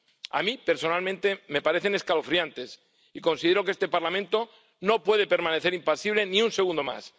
A mí, personalmente, me parecen escalofriantes y considero que este Parlamento no puede permanecer impasible ni un segundo más.